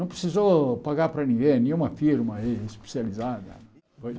Não precisou pagar para ninguém, nenhuma firma aí especializada.